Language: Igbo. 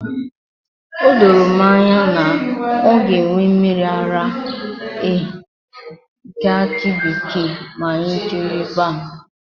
O doro m anya na ọ ga enwe mmiri ara ehi nke akị bekee ma anyị jeruo ebe ahụ